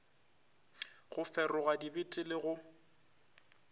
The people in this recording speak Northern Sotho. go feroga dibete le go